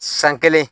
San kelen